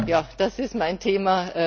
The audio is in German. Ja, das ist mein Thema.